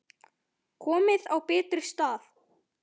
Komin á betri stað.